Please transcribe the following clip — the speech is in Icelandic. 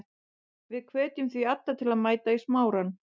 Við hvetjum því alla til að mæta í Smárann.